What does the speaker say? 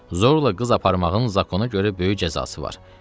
Zorla qız aparmağın qanuna görə böyük cəzası var.